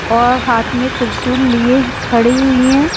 और हाथ में त्रिसूल लिए खड़ी हुई हैं।